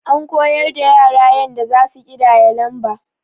An koyar da yara yanda zasu ƙidaya lamba.